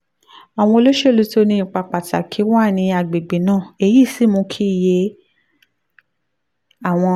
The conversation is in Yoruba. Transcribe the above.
àwọn olóṣèlú tó ní ipa pàtàkì wà ní àgbègbè náà èyí sì mú sì mú kí iye àwọn